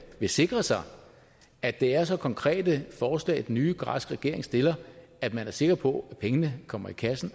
vil sikre sig at det er så konkrete forslag den nye græske regering stiller at man er sikker på at pengene kommer i kassen